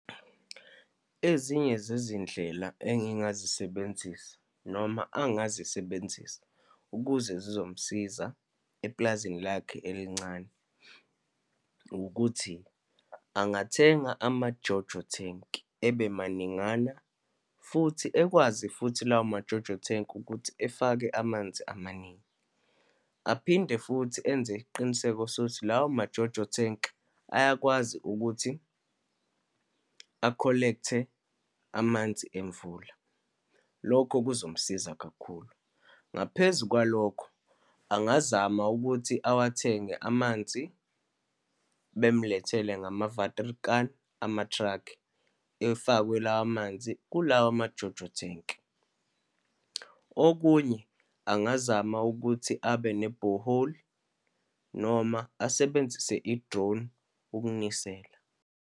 Ezinye zezindlela engingazisebenzisa, noma angazisebenzisa ukuze zizomsiza epulazini lakhe elincane, ukuthi angathenga ama-Jojo tank, ebe maningana, futhi ekwazi futhi lawo ma-Jojo tank ukuthi efake amanzi amaningi. Aphinde futhi enze isiqiniseko sokuthi lawo ma-Jojo tank ayakwazi ukuthi a-collect-e amanzi emvula, lokho kuzomsiza kakhulu. Ngaphezu kwalokho, angazama ukuthi awathenge amanzi, bemlethele ngama-water kan, amathrakhi, efakwe lawa amanzi kulawa ma-JoJo tank. Okunye angazama ukuthi abe ne-borehole, noma asebenzise i-drone ukunisela.